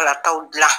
Kala taw gila